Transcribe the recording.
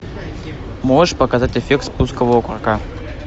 можешь показать эффект спускового курка